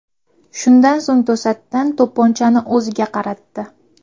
Shundan so‘ng to‘satdan to‘pponchani o‘ziga qaratdi.